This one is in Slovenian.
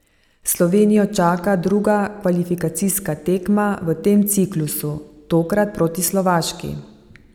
Slovenijo čaka druga kvalifikacijska tekma v tem ciklusu, tokrat proti Slovaški.